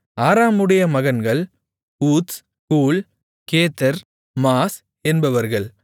ஆராமுடைய மகன்கள் ஊத்ஸ் கூல் கேத்தெர் மாஸ் என்பவர்கள்